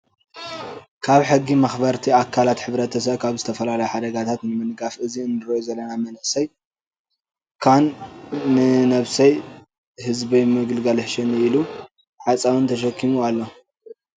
ካብ ሕጊ መክበርቲ ኣካላት ሕብርተሰብ ካብ ዝተፈላለዩ ሓደጋታት ንምንጋፍ እዚ እንሪኦ ዘለና መንእሰይ ካን ንነብሰይ ህዝበይ ምግልጋል ይሕሸኒ ኢሉ ሓፃውነ ተሸኪሙ ኣሎ።